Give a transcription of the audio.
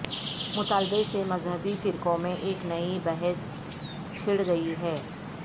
مطالبے سے مذہبی فرقوں میں ایک نئی بحث چھڑ گئی ہے